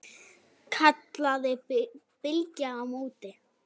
kallaði Bylgja á móti.